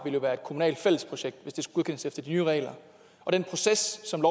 jo være et kommunalt fællesprojekt hvis det skulle godkendes efter de nye regler og den proces som